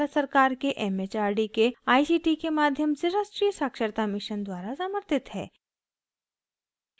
यह भारत सरकार के it it आर डी के आई सी टी के माध्यम से राष्ट्रीय साक्षरता mission द्वारा समर्थित है